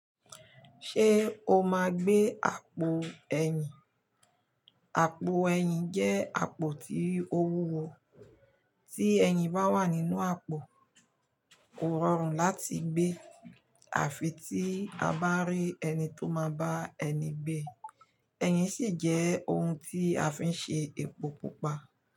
Ṣé o máa gbé àpò ẹyin? Àpò ẹyin jẹ́ àpò tí ó wúwo, tí ẹyin bá wà nínú àpò, kò rọrùn láti gbé e, àfi tí a bá rí ẹni tó máa bá ẹni gbé e. Eyin sì jẹ́ oun tí a fi ń ṣe epo pupa.